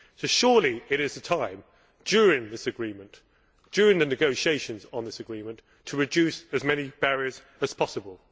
So surely it is time during this agreement during the negotiations on this agreement to reduce as many barriers as possible.